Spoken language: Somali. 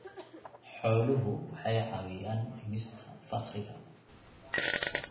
Xooluhu waxay caawiyaan dhimista faqriga.